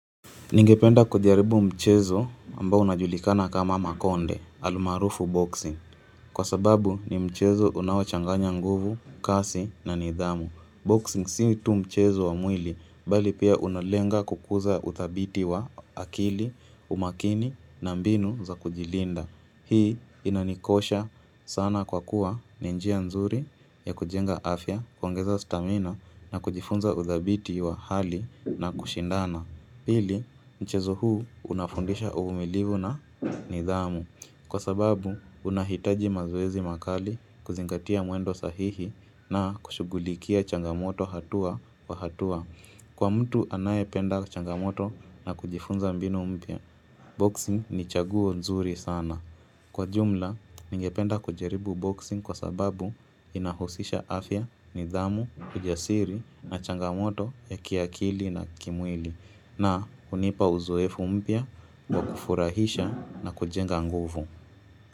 Ningependa kujaribu mchezo ambao unajulikana kama makonde, almaarufu boxing. Kwa sababu ni mchezo unaochanganya nguvu, kasi na nidhamu. Boxing sii tu mchezo wa mwili, bali pia unalenga kukuza utadhiti wa akili, umakini na mbinu za kujilinda. Hii inanikosha sana kwa kuwa ni njia nzuri ya kujenga afya, kuongeza stamina na kujifunza utadhabiti wa hali na kushindana. Pili, mchezo huu unafundisha uvumilivu na nidhamu. Kwa sababu, unahitaji mazoezi makali kuzingatia mwendo sahihi na kushugulikia changamoto hatua kwa hatua. Kwa mtu anaye penda changamoto na kujifunza mbinu mpya Boxing ni chaguo nzuri sana. Kwa jumla, ningependa kujaribu boxing kwa sababu inahusisha afya, nidhamu, ujasiri na changamoto ya kiakili na kimwili na hunipa uzoefu mpya wa kufurahisha na kujenga nguvu.